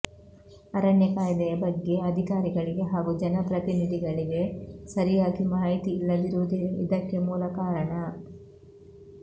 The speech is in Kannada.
ಅರಣ್ಯ ಕಾಯ್ದೆಯ ಬಗ್ಗೆ ಅಧಿಕಾರಿಗಳಿಗೆ ಹಾಗೂ ಜನಪ್ರತಿನಿಧಿಗಳಿಗೆ ಸರಿಯಾಗಿ ಮಾಹಿತಿ ಇಲ್ಲದಿರುವುದೇ ಇದಕ್ಕೆ ಮೂಲ ಕಾರಣ